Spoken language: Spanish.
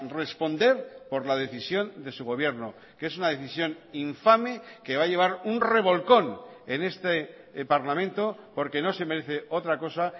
responder por la decisión de su gobierno que es una decisión infame que va a llevar un revolcón en este parlamento porque no se merece otra cosa